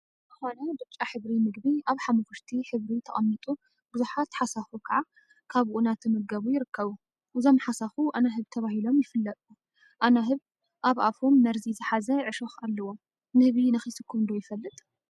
ዝኮነ ብጫ ሕብሪ ምግቢ አብ ሓመኩሽቲ ሕብሪ ተቀሚጡ ቡዙሓት ሓሳኩ ከዓ ካብኡ እናተመገቡ ይርከቡ፡፡ እዞም ሓሳኩ አናህብ ተባሂሎም ይፍለጡ፡፡ አናህብ አብ አፎም መርዚ ዝሓዘ ዕሾኽ አለዎም፡፡ ንህቢ ነኪስኩም ዶ ይፈልጥ?